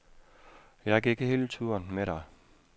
Jeg gik hele turen med dig.